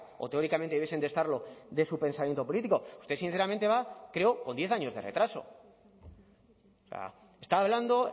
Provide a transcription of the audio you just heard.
o teóricamente debiesen estarlo de su pensamiento político usted sinceramente va creo con diez años de retraso está hablando